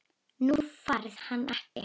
Þú færð hann ekki.